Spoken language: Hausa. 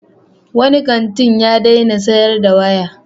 Wani kanti ya daina sayar da waya.